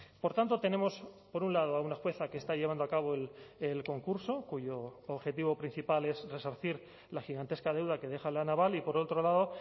por tanto tenemos por un lado a una jueza que está llevando a cabo el concurso cuyo objetivo principal es resarcir la gigantesca deuda que deja la naval y por otro lado